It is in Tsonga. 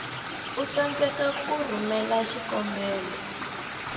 u tsandzeka ku rhumela xikombelo